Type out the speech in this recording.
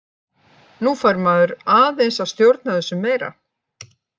Nú fær maður aðeins að stjórna þessu meira.